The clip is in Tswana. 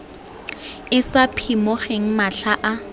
e sa phimogeng matlha a